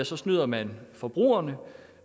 så snyder man forbrugerne